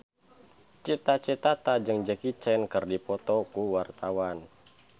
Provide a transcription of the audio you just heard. Cita Citata jeung Jackie Chan keur dipoto ku wartawan